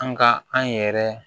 An ka an yɛrɛ